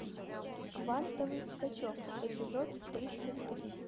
квантовый скачек эпизод тридцать три